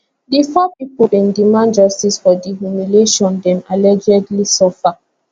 di four pipo bin demand justice for di humiliation dem allegedly suffer